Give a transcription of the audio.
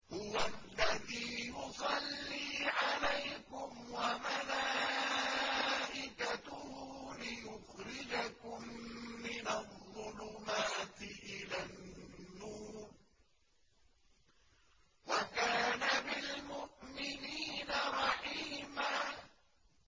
هُوَ الَّذِي يُصَلِّي عَلَيْكُمْ وَمَلَائِكَتُهُ لِيُخْرِجَكُم مِّنَ الظُّلُمَاتِ إِلَى النُّورِ ۚ وَكَانَ بِالْمُؤْمِنِينَ رَحِيمًا